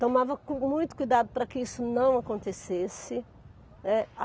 Tomava muito cuidado para que isso não acontecesse, né.